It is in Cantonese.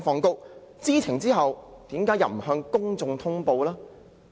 在知情後，為何不向公眾通報呢？